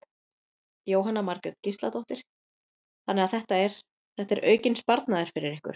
Jóhanna Margrét Gísladóttir: Þannig að þetta er, þetta er aukinn sparnaður fyrir ykkur?